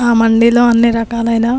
ఆ మంది లో అన్నీ రకాలైన --